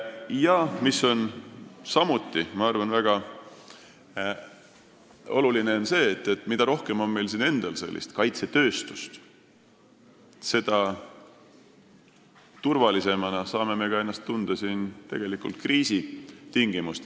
Ja samuti on väga oluline see, et mida rohkem on meil endal kaitsetööstust, seda turvalisemana saame ennast tunda kriisitingimustes.